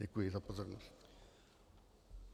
Děkuji za pozornost.